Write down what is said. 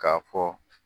K'a fɔ